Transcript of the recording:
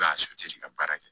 ka baara kɛ